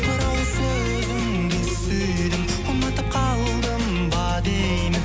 бір ауыз сөзіңді сүйдім ұнатып қалдым ба деймін